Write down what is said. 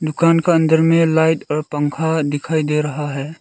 दुकान के अंदर में लाइट और पंखा दिखाई दे रहा है।